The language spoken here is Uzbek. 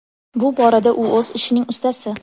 Bu borada u o‘z ishining ustasi!